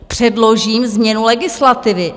Předložím změnu legislativy.